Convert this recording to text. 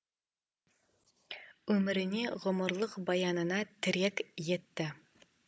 өміріне ғұмырлық баянына тірек етті